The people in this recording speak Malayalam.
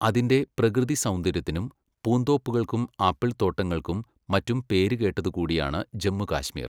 അതിൻ്റെ പ്രകൃതിസൗന്ദര്യത്തിനും പൂന്തോപ്പുകൾക്കും ആപ്പിൾത്തോട്ടങ്ങൾക്കും മറ്റും പേരുകേട്ടതുകൂടിയാണ് ജമ്മു കാശ്മീർ.